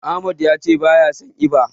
Ahmad yace baya son eba.